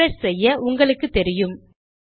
refresh செய்ய உங்களுக்கு தெரியும்